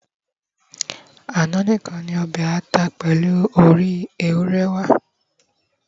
ana nìkan ni obe ata pèlú òrí ewúrẹ wà